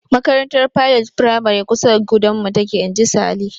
"Makarantar Pilot firamare kusa da gudanmu take." Inji Sale.